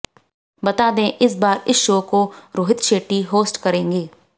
बता दें इस बार इस शो को रोहित शेट्टी होस्ट करेंगे